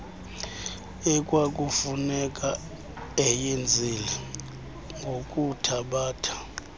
ekwakufuneka eyenzile ngokuthabatha